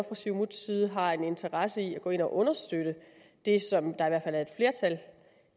siumuts side har en interesse i at gå ind og understøtte det som